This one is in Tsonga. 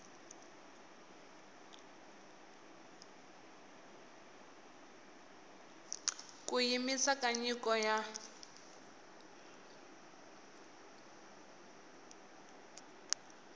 ku yimisiwa ka nyiko ya